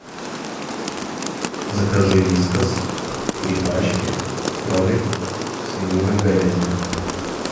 закажи вискас три пачки кролик свинина говядина